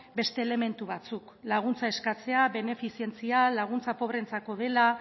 beste elementu batzuk laguntza eskatzea benefizentzia laguntza pobreentzako dela